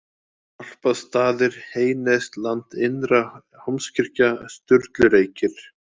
Stálpastaðir, Heynesland, Innra Hólmskirkja, Sturlureykir